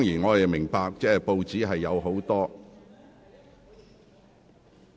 我明白報章有很多......